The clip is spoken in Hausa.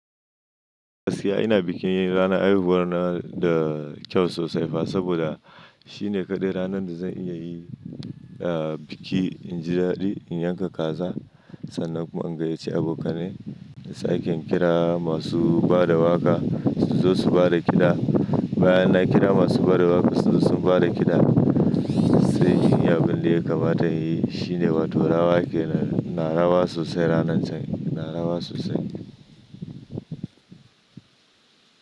Gaskiya ina bikin ranar haihuwar na da kyau sosai fa saboda shine kaɗai ranar da zan iya yi, ah biki in ji daɗi in yanka kaza sannan kuma an gayyace abokanai. Sai kin kira masu bada waƙa su zo su bada kiɗa. Bayan na kira masu bada waƙa su zo su bada kiɗa sai yin abin da ya kamata inyi shine wato rawa ke. Na rawa sosai ranar can, na rawa sosai.